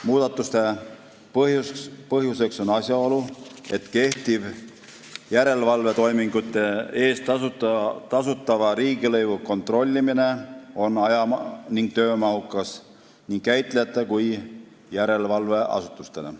Muudatuste põhjuseks on asjaolu, et järelevalvetoimingute eest tasutava riigilõivu kontrollimine on aja- ning töömahukas nii käitlejatele kui järelevalveasutustele.